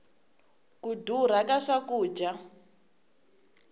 ku durha ka swakudya